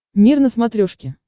мир на смотрешке